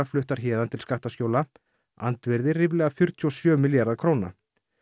fluttar héðan til skattaskjóla andvirði ríflega fjörutíu og sjö milljarða króna